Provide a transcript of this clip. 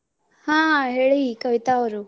ಹಾ ಹೇಳಿ ಕವಿತಾ ಅವ್ರು.